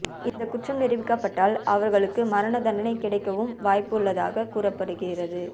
இந்த குற்றம் நிரூபிக்கப்பட்டால் அவர்களுக்கு மரண தண்டனை கிடைக்கவும் வாய்ப்பு உள்ளதாக கூறப்படுகிறது